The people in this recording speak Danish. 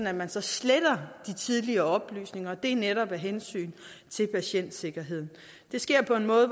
at man sletter de tidligere oplysninger og det er netop af hensyn til patientsikkerheden det sker på en måde